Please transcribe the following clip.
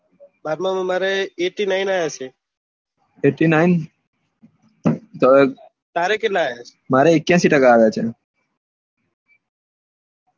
બારમા માં મારે eighty nine આવ્યા છે એટી નાઇન સરસ તારે કેટલા આવ્યા છે મારે એક્યાશી ટકા આવ્યા છે